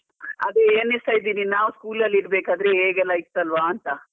ಅದೆ ಎಣಿಸ್ತಾ ಇದ್ದೀನಿ ನಾವ್ school ಇರ್ಬೇಕಾದ್ರೆ ಹೇಗೆ ಎಲ್ಲ ಇತಲ್ವಾ ಅಂತ.